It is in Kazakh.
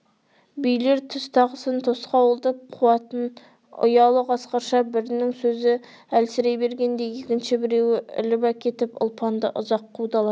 билер түз тағысын тосқауылдап қуатын ұялы қасқырша бірінің сөзі әлсірей бергенде екінші біреуі іліп әкетіп ұлпанды ұзақ қудаласа